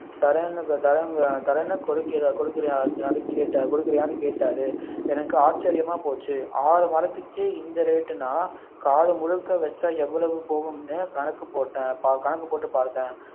தரேன் தரேனு தரேனு கொடுக்கறயா கொடுக்கறயா கேட்ட~ கொடுக்கறயான்னு கேட்டார் எனக்கு ஆச்சரியமா போச்சு ஆறு மரத்துக்கே இந்த rate நான் காலம் முழுக்க வச்சா எவ்வளவு போகும் என்று கணக்கு போட்டேன் கணக்கு போட்டு பார்த்தேன்